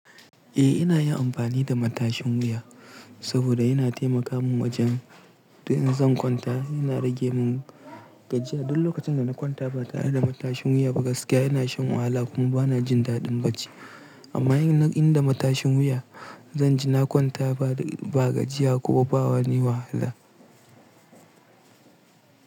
Eh ina yin amfani da matashin wuya saboda yana taimaka min wajen to in zan kwanta yana rage min gajiya. Duk lokacin da na kwanta ba ta yi da matashin wuya ba gaskiya yana shan wahala kuma bana jin daɗin bacci. Amma in ina da matashin wuya zan ji na kwanta ba gajiya kuma ba wani wahala.